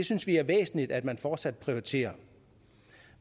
synes det er væsentligt at man fortsat prioriterer